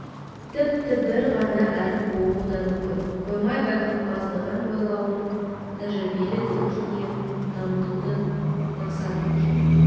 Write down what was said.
тіпті бір ғана әріп болуы да мүмкін қоймай байқампаздығын ойлауын тәжірибелік өркениетін дамытуды мақсат еткен